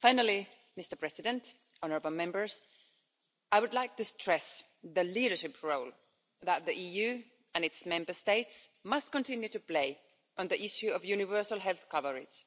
Finally, I would like to stress the leadership role that the EU and its Member States must continue to play on the issue of universal health coverage,